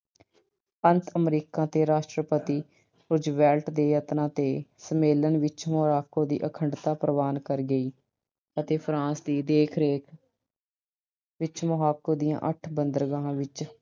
ਅੰਤ America ਦੇ ਰਾਸ਼ਟਰਪਤੀ Roosevelt ਦੇ ਯਤਨਾਂ ਤੇ ਸੰਮੇਲਨ ਵਿੱਚ Morocco ਦੀ ਅਖੰਡਤਾ ਪ੍ਰਵਾਨ ਕਰ ਗਈ ਅਤੇ France ਦੀ ਦੇਖ-ਰੇਖ ਵਿੱਚ Morocco ਦੀਆਂ ਅੱਠ ਬੰਦਰਗਾਹਾਂ ਵਿੱਚ